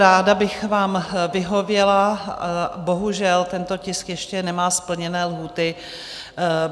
Ráda bych vám vyhověla, bohužel tento tisk ještě nemá splněny lhůty.